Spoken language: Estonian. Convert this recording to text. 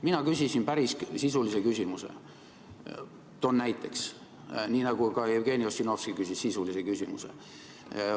Mina küsisin päris sisulise küsimuse, toon näiteks, nii nagu ka Jevgeni Ossinovski küsis sisulise küsimuse.